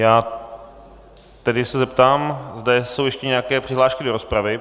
Já tedy se zeptám, zda jsou ještě nějaké přihlášky do rozpravy.